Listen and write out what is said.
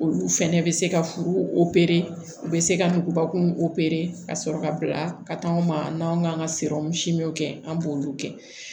Olu fɛnɛ bɛ se ka furu u bɛ se ka nugubakun opere ka sɔrɔ ka bila ka taa anw ma n'an kan ka kɛ an b'olu kɛ